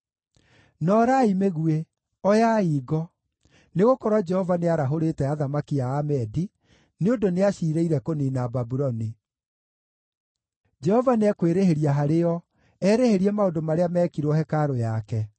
“Noorai mĩguĩ, oyai ngo! Nĩgũkorwo Jehova nĩarahũrĩte athamaki a Amedi, nĩ ũndũ nĩaciirĩire kũniina Babuloni. Jehova nĩekwĩrĩhĩria harĩo, erĩhĩrie maũndũ marĩa meekirwo hekarũ yake.